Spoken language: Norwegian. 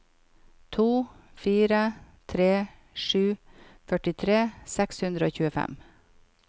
to fire tre sju førtitre seks hundre og tjuefem